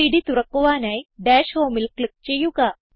gchem3ഡ് തുറക്കുവാനായി ഡാഷ് Homeൽ ക്ലിക്ക് ചെയ്യുക